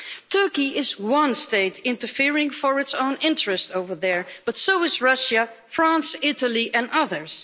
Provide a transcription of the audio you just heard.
Turkey is one state interfering for its own interests over there, but so are Russia, France and Italy, and others.